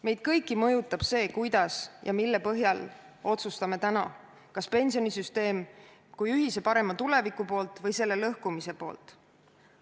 Meid kõiki mõjutab see, kuidas ja mille põhjal me täna otsustame, kas pensionisüsteemi kui ühise parema tuleviku poolt või selle lõhkumise poolt.